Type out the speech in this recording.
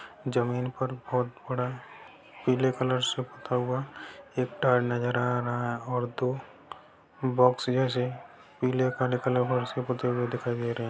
जमीन पर बहुत बड़ा पीले कलर से पुता हुआ एक टायर नजर आ रहा है और दो बॉक्स जैसे पीले और काले कलर के दिखाई दे रहे हैं।